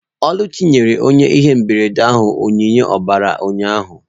Oluchi nyere onye ihe mberede ahụ onyinye ọbara ya ụnyahụ